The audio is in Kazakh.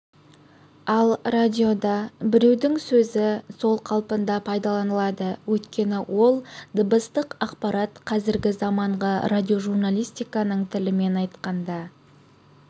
ал радиода біреудің сөзі сол қалпында пайдаланылады өйткені ол дыбыстық ақпарат қазіргі заманғы радиожурналистиканың тілімен айтқанда